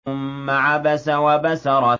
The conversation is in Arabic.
ثُمَّ عَبَسَ وَبَسَرَ